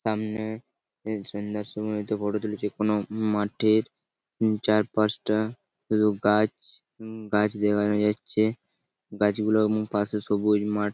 সামনে বেশ সুন্দর সুন্দর ফটো তুলেছি | কোনো মাঠের চারপাশটা শুধু গাছ উম-গাছ দেখা যাচ্ছে | গাছ গুলোর পাশে সবুজ মাঠ।